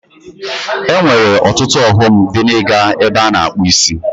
E nwere ọtụtụ ọghọm dị n'iga ebe a na-akpụ isi.